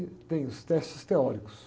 Tem os testes teóricos.